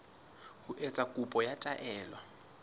ho etsa kopo ya taelo